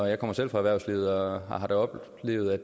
jeg kommer selv fra erhvervslivet og har jeg da oplevet at